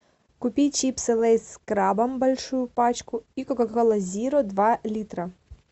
купи чипсы лейс с крабом большую пачку и кока кола зеро два литра